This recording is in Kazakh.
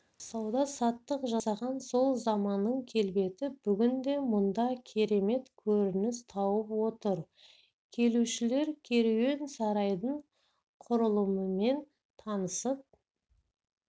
сауда-саттық жасаған сол заманның келбеті бүгінде мұнда керемет көрініс тауып отыр келушілер керуен-сарайдың құрылымымен танысып